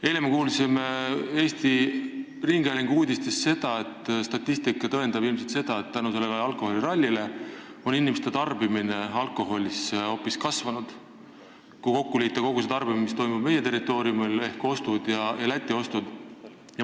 Eile me kuulsime rahvusringhäälingu uudistest, et kui kokku liita kogu see tarbimine, mis toimub meie territooriumil, ehk ostud meie territooriumil, ja ostud Lätis, siis statistika ilmselt tõendab, et selle alkoholiralli tõttu on inimeste alkoholitarbimine hoopis kasvanud.